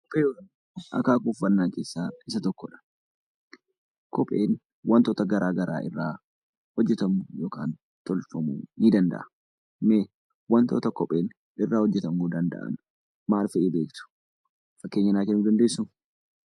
Kopheewwan akaakuu uffannaa keessaa Isa tokkodha. Kopheen wantoota garaagaraa irraa hojjetamu yookaan tolfamuu ni danda'a. Mee wantoota kopheen irraa hojjetamuu danda'an maal fa'i beektu? Fakkeenya naaf kennuu dandeessuu?